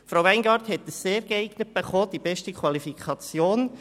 Frau Weingart hat ein «sehr geeignet» erhalten, die beste Qualifikation.